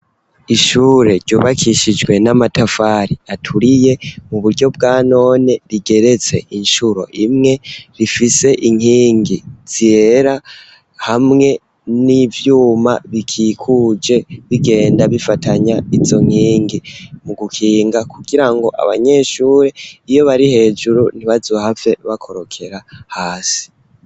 Ishure ryubakishijwe n'amatafari aturiye mu buryo bwa none rigeretse inshuro imwe rifise inkingi zyera hamwe n'ivyuma bikikuje bigenda bifatanya izo nkingi mu gukinga kugira ngo abanyeshure iyo bari hejuru ntibazohave bakorokera hasi.